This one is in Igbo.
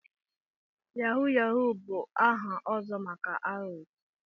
Yahoo yahoo bụ aha ọzọ maka aghụghọ.